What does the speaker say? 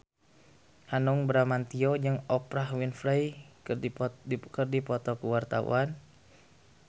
Hanung Bramantyo jeung Oprah Winfrey keur dipoto ku wartawan